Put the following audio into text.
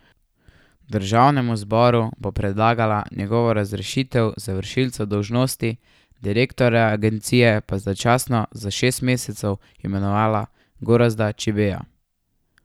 Državnemu zboru bo predlagala njegovo razrešitev, za vršilca dolžnosti direktorja agencije pa je začasno za šest mesecev imenovala Gorazda Čibeja.